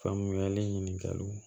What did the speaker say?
Faamuyali ɲininkali